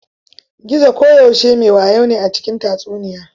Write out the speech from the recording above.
Gizo koyaushe me wayo ne a cikin tatsuniya.